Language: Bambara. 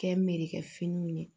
Kɛ merekɛ finiw ye